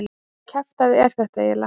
Hvaða kjaftæði er þetta eiginlega?